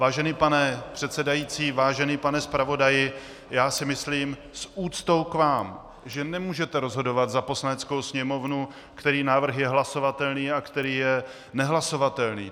Vážený pane předsedající, vážený pane zpravodaji, já si myslím - s úctou k vám -, že nemůžete rozhodovat za Poslaneckou sněmovnu, který návrh je hlasovatelný a který je nehlasovatelný.